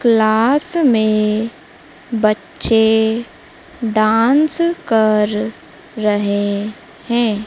Class में बच्चे dance कर रहे हैं।